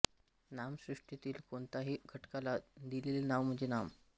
नाम सृष्टीतील कोणत्याही घटकाला दिलेले नाव म्हणजे नाम